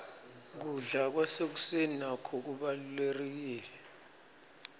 kubla kwasekuseni nako kubalurekile